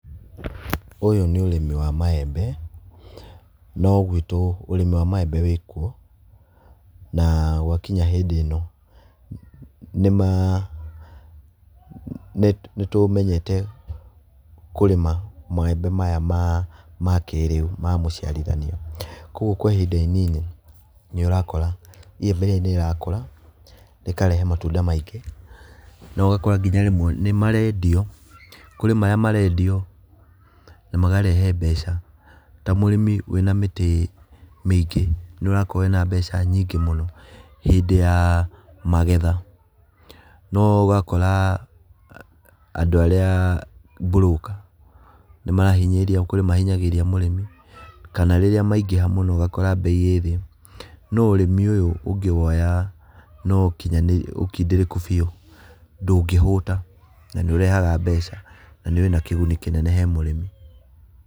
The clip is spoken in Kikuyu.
Ũyũ nĩ ũrĩmi wa maembe, no gwitũ ũrĩmi wa maembe wĩkuo, na gwakinya hĩndĩ ĩno, nĩma, nĩtũmenyete kũrĩma maembe maya ma ma kĩrĩu ma mũciarithanio. Kuoguo kwa ihinda inini nĩũrakora iyembe rĩrĩ nĩrĩrakũra, rĩkarehe matunda maingĩ na ũgakora kinya rĩmwe nĩmarendio, kũrĩ marĩa marendio na makarehe mbeca. Ta mũrĩmi wĩna mĩtĩ mĩingĩ nĩũrakorwo wĩna mbeca nyingĩ muno hĩndĩ ya magetha, no ũgakora andũ arĩa broker nĩmarahinyĩrĩria kũrĩ mahinyagĩrĩria mũrĩmi, kana rĩrĩa maingĩha mũno ũgakora mbei ĩ thĩ, no ũrĩmi ũyũ ũngĩwoya na ũkindĩrĩku biũ, ndũngĩhũta na nĩũrehaga mbeca na wĩna kĩguni kĩnene he mũrĩmi.